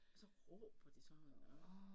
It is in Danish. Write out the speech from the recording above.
Og så råber de sådan og